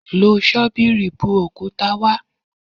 Lo ṣọ́bìrì bu òkúta wá.